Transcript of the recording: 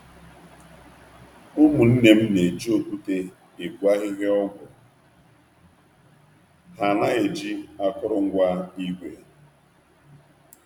Ụmụnne m na-eji okwute egwe ahịhịa ọgwụ, ha anaghị eji akụrụngwa igwe